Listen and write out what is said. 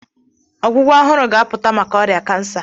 Ọgwụgwọ ọhụrụ ga-apụta maka ọrịa kansa.